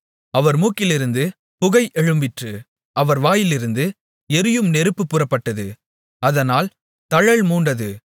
அவர் மூக்கிலிருந்து புகை எழும்பிற்று அவர் வாயிலிருந்து எரியும் நெருப்பு புறப்பட்டது அதனால் தழல் மூண்டது